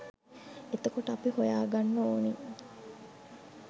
එතකොට අපි හොයා ගන්න ඕන